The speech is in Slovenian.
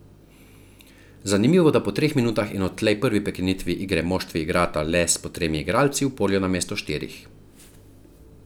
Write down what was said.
Zanimivo, da po treh minutah in odtlej prvi prekinitvi igre moštvi igrata le s po tremi igralci v polju namesto štirih.